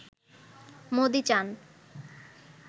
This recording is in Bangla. মোদি চান